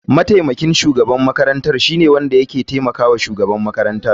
Mataimakin shugaban makarantar shine wanda ke taimakawa shugaban makarantar.